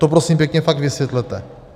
To prosím pěkně fakt vysvětlete.